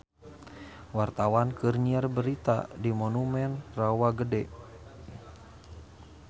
Wartawan keur nyiar berita di Monumen Rawa Gede